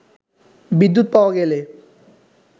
বিদ্যুৎ পাওয়া গেলে